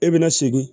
E bɛna segin